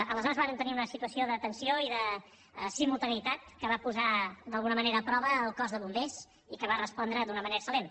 aleshores vàrem tenir una situació de tensió i de simultaneïtat que va posar d’alguna manera a prova el cos de bombers i que va respondre d’una manera excel·lent